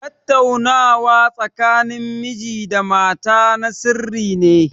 Tattaunawa tsakanin miji da mata na sirri ne.